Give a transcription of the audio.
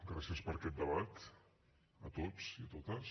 gràcies per aquest debat a tots i a totes